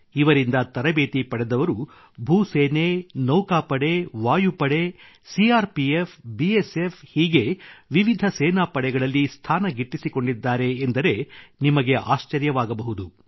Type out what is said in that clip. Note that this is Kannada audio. ಇವರಿಂದ ತರಬೇತಿ ಪಡೆದವರು ಭೂಸೇನೆ ನೌಕಾಪಡೆ ವಾಯುಪಡೆ CR P F B S F ಹೀಗೆ ವಿವಿಧ ಸೇನಾಪಡೆಗಳಲ್ಲಿ ಸ್ಥಾನ ಗಿಟ್ಟಿಸಿಕೊಂಡಿದ್ದಾರೆ ಎಂದರೆ ನಿಮಗೆ ಆಶ್ಚರ್ಯವಾಗಬಹುದು